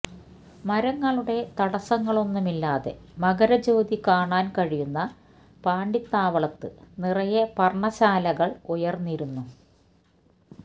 മരങ്ങളുടെ തടസ്സങ്ങളൊന്നുമില്ലാതെ മകരജ്യോതി കാണാന് കഴിയുന്ന പാണ്ടിത്താവളത്ത് നിറയെ പര്ണ്ണശാലകള് ഉയര്ന്നിരുന്നു